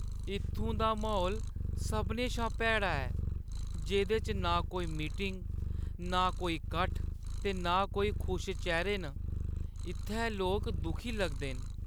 इत्थूं दा म्हौल सभनें शा भैड़ा ऐ, जेह्दे च ना कोई मीटिंग, नां कोई कट्ठ ते ना कोई खुश चेह्‌रे न। इत्थै लोक दुखी लगदे न।